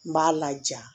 N b'a laja